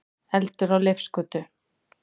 Eldur á Leifsgötu